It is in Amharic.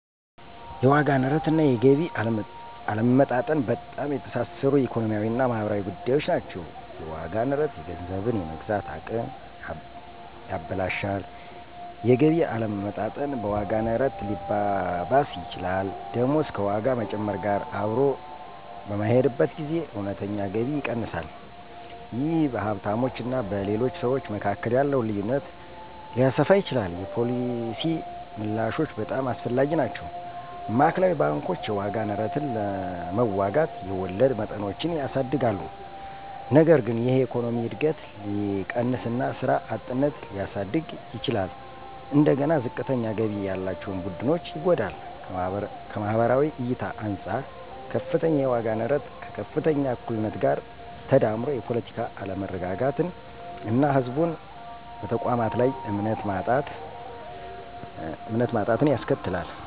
የዋጋ ንረት እና የገቢ አለመመጣጠን በጣም የተሳሰሩ ኢኮኖሚያዊ እና ማህበራዊ ጉዳዮች ናቸው። የዋጋ ንረት የገንዘብን የመግዛት አቅም ያበላሻል። የገቢ አለመመጣጠን በዋጋ ንረት ሊባባስ ይችላል። ደሞዝ ከዋጋ መጨመር ጋር አብሮ በማይሄድበት ጊዜ እውነተኛ ገቢ ይቀንሳል። ይህ በሀብታሞች እና በሌሎች ሰዎች መካከል ያለውን ልዩነት ሊያሰፋ ይችላል። የፖሊሲ ምላሾች በጣም አስፈላጊ ናቸው። ማዕከላዊ ባንኮች የዋጋ ንረትን ለመዋጋት የወለድ መጠኖችን ያሳድጋሉ። ነገር ግን ይህ የኢኮኖሚ እድገትን ሊቀንስ እና ስራ አጥነትን ሊያሳድግ ይችላል። እንደገና ዝቅተኛ ገቢ ያላቸውን ቡድኖች ይጎዳል። ከማህበራዊ እይታ አንፃር - ከፍተኛ የዋጋ ንረት ከከፍተኛ እኩልነት ጋር ተዳምሮ የፖለቲካ አለመረጋጋትን እና ህዝቡን በተቋማት ላይ እምነት ማጣትን ያስከትላል።